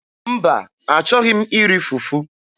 Mba, achọghị m iri fufu.